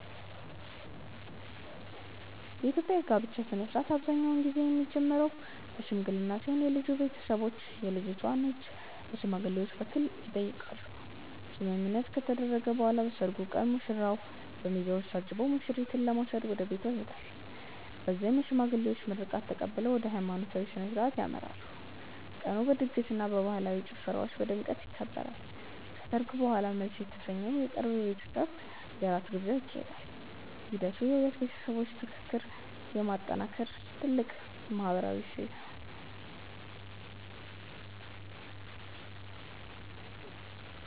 የኢትዮጵያ የጋብቻ ሥነ ሥርዓት አብዛኛውን ጊዜ የሚጀምረው በሽምግልና ሲሆን የልጁ ቤተሰቦች የልጅቷን እጅ በሽማግሌዎች በኩል ይጠይቃሉ። ስምምነት ከተደረሰ በኋላ በሰርጉ ቀን ሙሽራው በሚዜዎች ታጅቦ ሙሽሪትን ለመውሰድ ወደ ቤቷ ይሄዳል። በዚያም የሽማግሌዎች ምርቃት ተቀብለው ወደ ሃይማኖታዊ ሥነ ሥርዓት ያመራሉ። ቀኑ በድግስና በባህላዊ ጭፈራዎች በድምቀት ይከበራል። ከሰርግ በኋላም መልስ የተሰኘው የቅርብ ቤተሰብ የራት ግብዣ ይካሄዳል። ሂደቱ የሁለት ቤተሰቦች ትስስር የሚጠናከርበት ትልቅ ማህበራዊ እሴት ነው።